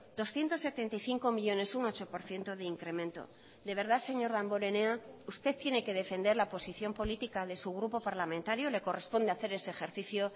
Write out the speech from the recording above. doscientos setenta y cinco millónes un ocho por ciento de incremento de verdad señor damborenea usted tiene que defender la posición política de su grupo parlamentario le corresponde hacer ese ejercicio